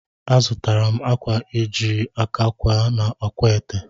Azụtara m akwa e jiri aka kwee n'akwaete